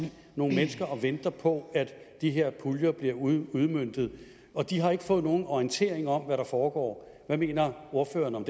nogle mennesker og venter på at de her puljer bliver udmøntet og de har ikke fået nogen orientering om hvad der foregår hvad mener ordføreren om